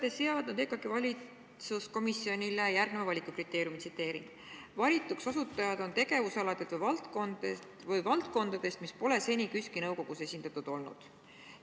Te olete seadnud EKAK-i valitsuskomisjonile järgneva valikukriteeriumi: "Valituks osutujad on tegevusaladelt või valdkondadest, mis pole seni KÜSK-i nõukogus esindatud olnud.